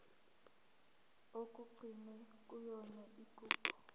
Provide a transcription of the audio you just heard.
okugcinwe kuyona igugu